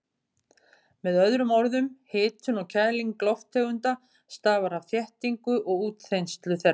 Með öðrum orðum, hitun og kæling lofttegunda stafar af þéttingu og útþenslu þeirra.